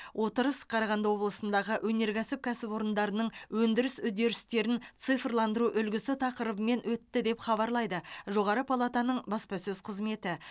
отырыс қарағанды облысындағы өнеркәсіп кәсіпорындарының өндіріс үдерістерін цифрландыру үлгісі тақырыбымен өтті деп хабарлайды жоғары палатаның баспасөз қызметі